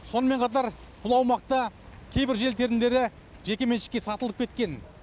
сонымен қатар бұл аумақта кейбір жер телімдері жекеменшікке сатылып кеткен